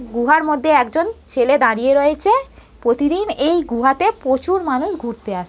গুহার মধ্যে একজন ছেলে দাঁড়িয়ে রয়েছে প্রতিদিন এই গুহা তে প্রচুর মানুষ ঘুরতে আসে।